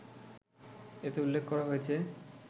এতে উল্লেখ করা হয়েছে